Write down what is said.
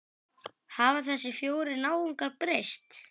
Hafa þessir fjórir náungar breyst?